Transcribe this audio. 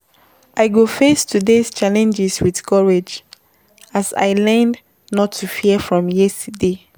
I go face today’s challenges with courage as I learned not to fear from yesterday.